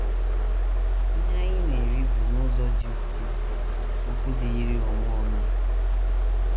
Ihe anyị na - eri bụ n’ụzọ dị ukwuu okwu dịịrị onwe onye.